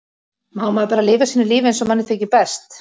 Má maður bara lifa sínu lífi eins og manni þykir best!